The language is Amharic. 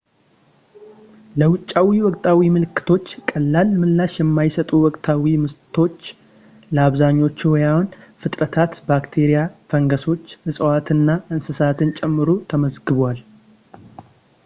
ለውጫዊ ወቅታዊ ምልክቶች ቀላል ምላሽ የማይሰጡ ወቅታዊ ምቶች ለአብዛኞቹ ሕያዋን ፍጥረታት ባክቴሪያ ፣ ፈንገሶችን ፣ እፅዋትንና እንስሳትን ጨምሮ ተመዝግበዋል